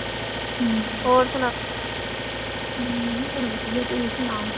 ਹਮ ਹੋਰ ਵਧੀਆ ਤੂੰ ਸੁਣਾ।